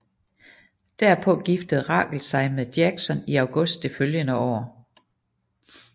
Derpå giftede Rachel sig med Jackson i august det følgende år